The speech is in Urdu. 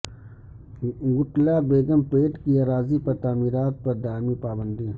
گٹلہ بیگم پیٹ کی اراضی پر تعمیرات پر دائمی پابندی